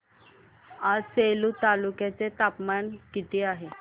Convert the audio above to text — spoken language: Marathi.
आज सेलू तालुक्या चे तापमान किती आहे